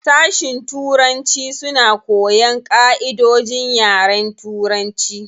Sashin turanci suna koyan ƙaʼidojin yaren turanci.